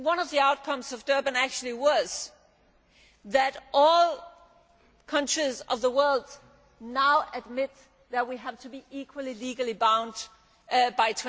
One of the outcomes of Durban was that all countries of the world now admit that we have to be equally legally bound